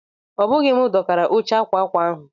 Obughi m dokara óche akwa akwa ahụ.